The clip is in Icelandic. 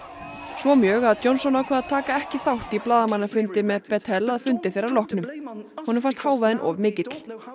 svo mjög að Johnson ákvað að taka ekki þátt í blaðamannafundi með Bettel að fundi þeirra loknum honum fannst hávaðinn of mikill